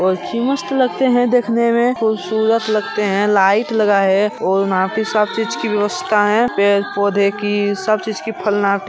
काफी मस्त लगते हैं देखने में खूबसूरत लगते हैं लाइट लगाए हैं और यहां पे सब चीज की व्ययवस्था है पेड़-पौधे की सब चीज की फल--